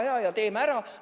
Väga hea ja teeme ära!